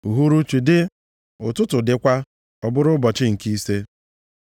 Uhuruchi dị, ụtụtụ dịkwa. Ọ bụrụ ụbọchị nke ise.